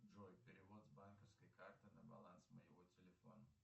джой перевод с банковской карты на баланс моего телефона